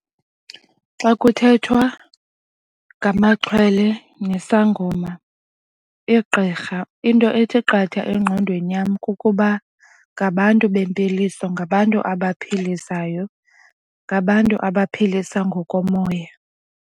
Xa kuthethwa ngamaxhwele nesangoma igqirha into ethi qatha engqondweni yam kukuba ngabantu bempiliso ngabantu abaphilisayo, ngabantu abaphilisa ngokomoya.